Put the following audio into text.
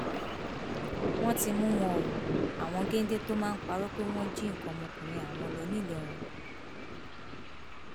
wọn ti mú wọn o àwọn géńdé tó máa parọ pé wọn jí nǹkan ọmọkùnrin àwọn lọ ńìlọrin